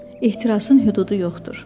Ehtirasın hüdudu yoxdur.